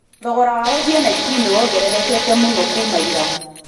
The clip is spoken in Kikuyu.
Thogora wa gũthiĩ Naikuru nĩwongererekete mũno kuuma ira.